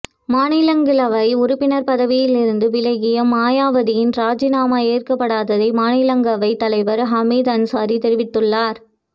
மாநிலங்களவை உறுப்பினர் பதவியில் இருந்து விலகிய மாயாவதியின் ராஜினாமா ஏற்கப்பட்டதாக மாநிலங்களவைத் தலைவர் ஹமீது அன்சாரி தெரிவித்துள்ளார்